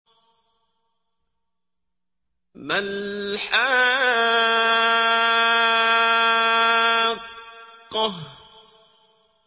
مَا الْحَاقَّةُ